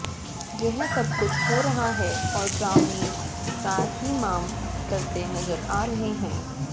यह सबकुछ हो रहा है और ग्रामीण त्राहिमाम करते नजर आ रहे हैं